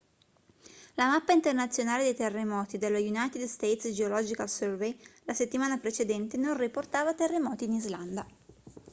la mappa internazionale dei terremoti dello united states geological survey la settimana precedente non riportava terremoti in islanda